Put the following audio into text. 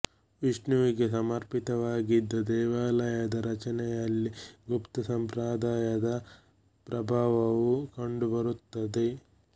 ವಿಷ್ಣುವಿಗೆ ಸಮರ್ಪಿತವಾಗಿದ್ದ ದೇವಾಲಯದ ರಚನೆಯಲ್ಲಿ ಗುಪ್ತ ಸಂಪ್ರದಾಯದ ಪ್ರಭಾವವು ಕಂಡು ಬರುತ್ತದೆ